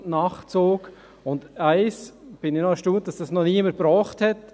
Über eines bin ich erstaunt – darüber, dass dies noch niemand angesprochen hat.